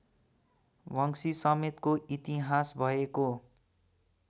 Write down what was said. वंशीसमेतको इतिहास भएको